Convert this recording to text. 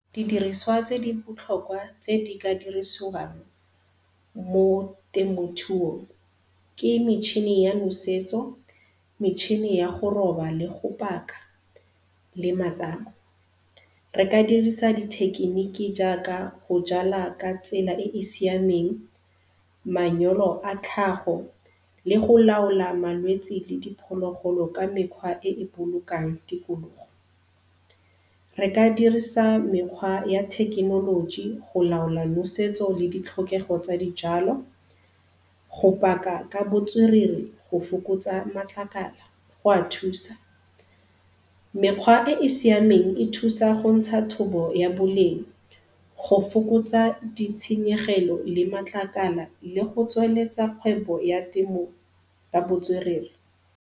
Didiriswa tse di botlhokwa tse di ka dirisiwang mo temothuong ke metšhini ya nosetso, metšhine ya go roba le go paka le matamo. Re ka dirisa dithekeniki jaaka go jala ka tsela e e siameng, manyoro a tlhago le go laola malwetsi le diphologolo ka mekgwa e e bolokang tikologo. Re ka dirisang mekgwa ya thekenoloji go laola nosetso le ditlhokego tsa dijalo, go paka ka botswerere, go fokotsa matlakala go a thusa. Mekgwa e e siameng e thusa go ntsha thobo ya boleng, go fokotsa ditshenyegelo le matlakala le go tsweletsa kgwebo ya temo ka botswerere.